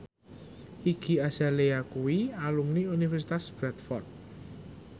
Iggy Azalea kuwi alumni Universitas Bradford